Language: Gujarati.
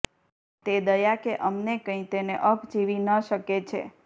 તે દયા કે અમને કંઈ તેને અપ જીવી ન શકે છે